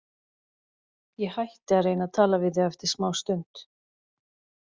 Ég hætti að reyna að tala við þau eftir smástund.